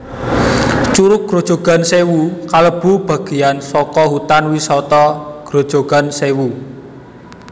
Curug Grojogan Sewu kalebu bageyan saka Hutan Wisata Grojogan Sèwu